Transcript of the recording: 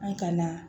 An ka na